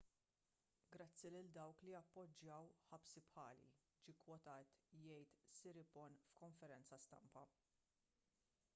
grazzi lil dawk li appoġġjaw ħabsi bħali ġie kkwotat jgħid siriporn f'konferenza stampa